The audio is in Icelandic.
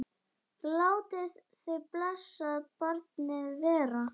Látið þið blessað barnið vera.